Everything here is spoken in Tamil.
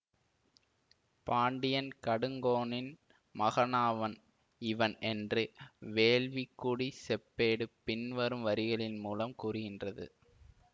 பாண்டியன் கடுங்கோனின் மகனாவன் இவன் என்று வேள்விக்குடிச் செப்பேடு பின்வரும் வரிகளின் மூலம் கூறுகின்றது